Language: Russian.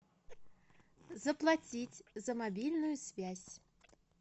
заплатить за мобильную связь